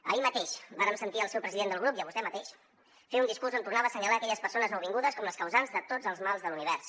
ahir mateix vàrem sentir al seu president de grup i a vostè mateix fer un discurs on tornava a assenyalar aquelles persones nouvingudes com les causants de tots els mals de l’univers